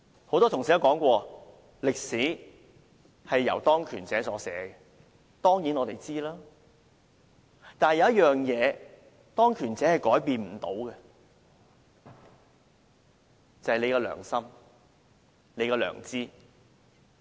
很多同事也說，歷史是由當權者所寫的，我們當然知道，但有一樣東西是當權者也不能改變的，便是大家的良心、大家的良知。